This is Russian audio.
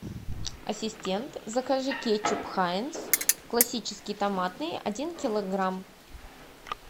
ассистент закажи кетчуп хайнц классический томатный один килограмм